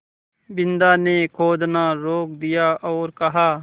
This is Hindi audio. बिन्दा ने खोदना रोक दिया और कहा